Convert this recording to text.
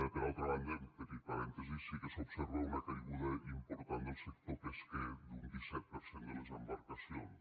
per altra banda un petit parèntesi sí que s’observa una caiguda important del sector pesquer d’un disset per cent de les embarcacions